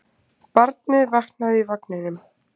Barnið vaknaði í vagninum.